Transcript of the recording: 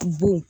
Bon